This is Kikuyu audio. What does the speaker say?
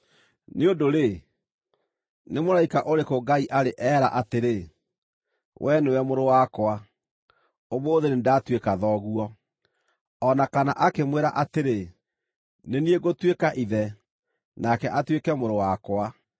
Nĩ ũndũ-rĩ, nĩ mũraika ũrĩkũ Ngai arĩ eera atĩrĩ, “Wee nĩwe Mũrũ wakwa; ũmũthĩ nĩndatuĩka Thoguo”? O na kana akĩmwĩra atĩrĩ, “Nĩ niĩ ngũtuĩka Ithe, nake atuĩke Mũrũ wakwa”?